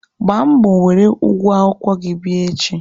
Gbaa mbọ were ụgwọ akwụkwọ gị bịa echi!